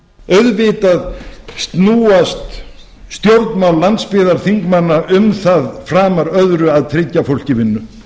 auðvitað snúast stjórnmál landsbyggðarþingmanna um það framar öðru að tryggja fólki vinnu